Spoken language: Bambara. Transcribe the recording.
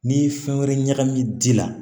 N'i ye fɛn wɛrɛ ɲagami ji la